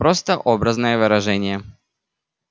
просто образное выражение